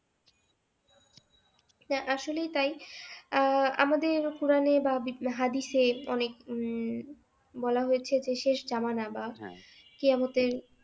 আসলেই তাই আহ আমাদের কোরআনে বা হাদিসের অনেক উম বলা হয়েছে যে শেষ জামানা বা কেয়ামতের